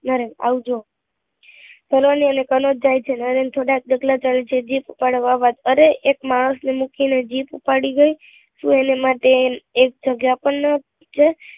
નરેન આવજ સરવણી અને કનોજ જાય છે નરેન થોડાક ડગલાં ચાલે છે જીપ ઉપાડવા વાત કરે એક માણસ ને મૂકી ને જીપ ઉપાડી ગઈ ધુ એના માટે એક એક જગ્યા પણ નાં છે